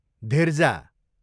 धिर्जा